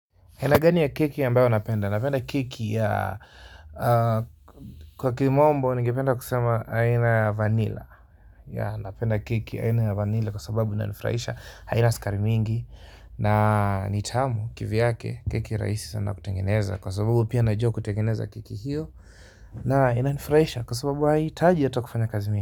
Aina gani ya keki ambayo napenda? Napenda keki ya kwa kimombo ningependa kusema aina vanilla napenda keki aina vanila kwa sababu ina nifurahisha haina sukari mingi na nitamu kivyake keki rahisi sana kutengeneza kwa sababu pia najua kutengeneza keki hio na inanifurahisha kwa sababu haihitaji hata kufanya kazi mingi.